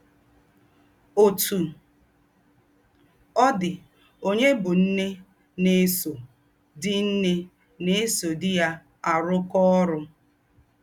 Òtú ọ̀ dì, ònyè bú ǹné nà-èsò dí ǹné nà-èsò dí yá àrùkọ́ órú.